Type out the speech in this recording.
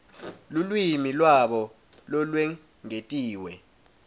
lulwimi lwabo lolwengetiwe